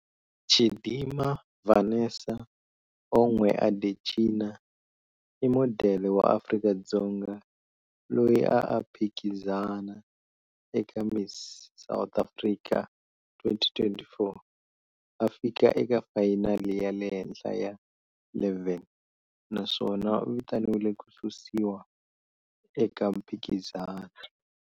Chidimma Vanessa Onwe Adetshina i modele wa Afrika-Dzonga loyi a a phikizana eka Miss South Africa 2024, a fika eka vafayinali ya le henhla ya 11, naswona u vitaniwile ku susiwa eka mphikizano.